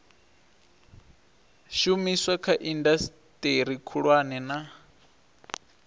shumiswa kha indasiteri khulwane na